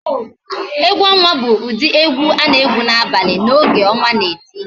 Egwu onwa bụ ụdị egwu a na-egwu n'abalị n'oge ọnwa na-eti